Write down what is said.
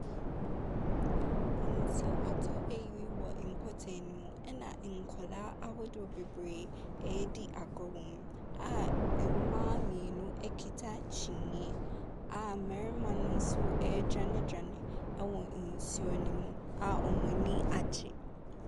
Mfonyini bi wɔ hɔ. Mfonyini mu yi, kodoɔ bi si hɔ a nnipa bi te mu. Na abranteɛ bi retwe kodoɔ no. Aboa bi nam hɔ. Ɛna papa bi kuta sekan wɔne nsam a wasɔ akwadaa bi mu. Wasɔ papa bi mu. Na kube bi si wɔn akyi.